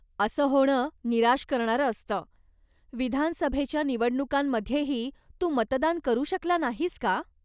असं होणं निराश करणारं असतं. विधानसभेच्या निवडणुकांमध्येही तू मतदान करू शकला नाहीस का?